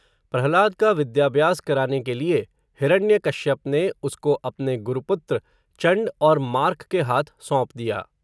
प्रह्लाद का विद्याभ्यास कराने के लिए, हिरण्य कश्यप ने, उसको अपने गुरुपुत्र, चण्ड और मार्क के हाथ सौंप दिया